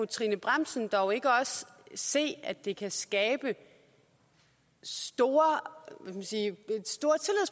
trine bramsen dog ikke også se at det kan skabe store